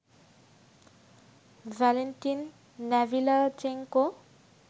Valentin Nalyvaichenko